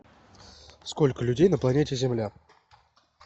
сколько людей на планете земля